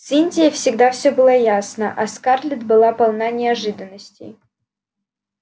с индией всегда все было ясно а скарлетт была полна неожиданностей